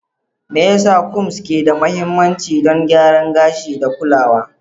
Me yasa combs ke da mahimmanci don gyaran gashi da kulawa?